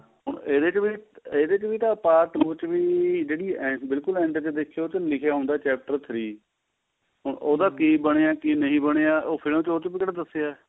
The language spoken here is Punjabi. ਹੁਣ ਇਹਦੇ ਚ ਵੀ ਇਹਦੇ ਚ ਵੀ ਤਾਂ part two ਚ ਵੀ ਬਿਲਕੁਲ end ਚ ਦੇਖੀਏ ਉਹਦੇ ਚ ਲਿਖਿਆ ਹੁੰਦਾ chapter three ਹੁਣ ਉਹਦਾ ਕੀ ਬਣਿਆ ਕੀ ਨਹੀਂ ਬਣਿਆ ਉਹ ਫਿਲਮ ਚ ਉਹ ਚ ਵੀ ਕਿਹੜਾ ਦੱਸਿਆ